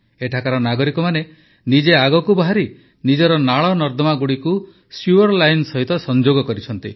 ଏଠାକାର ନାଗରିକମାନେ ନିଜେ ଆଗକୁ ବାହାରି ନିଜର ନାଳନର୍ଦ୍ଦମାଗୁଡ଼ିକୁ ସିୱର୍ ଲାଇନ୍ ସହ ସଂଯୋଗ କରିଛନ୍ତି